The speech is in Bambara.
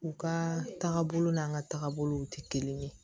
U ka taagabolo n'an ka taabolow tɛ kelen ye